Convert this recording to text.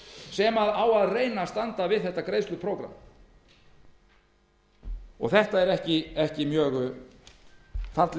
sem reyna á að standa við þetta greiðsluprógramm það er satt best að segja ekki mjög falleg